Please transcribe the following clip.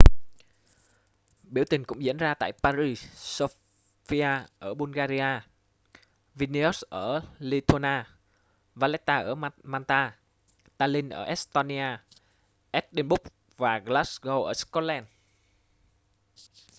biểu tình cũng diễn ra tại paris sofia ở bulgaria vilnius ở lithuania valetta ở malta tallinn ở estonia edinburgh và glasgow ở scotland